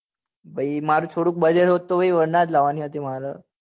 ભાઈ માર થોડુક budget હોત તો ભાઈ મારે varna જ લાવ ની હતી મારે